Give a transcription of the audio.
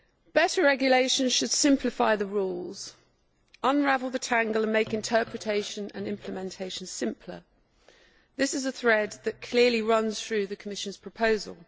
Better regulation should simplify the rules, unravel the tangle and make interpretation and implementation simpler, and this is a thread which clearly runs through the Commission's proposal.